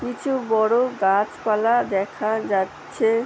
কিছু বড় গাছপালা দেখা যাচ্ছে ।